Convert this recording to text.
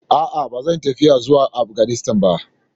A'a, ba zan yi tafiya zuwa Afganistan ba.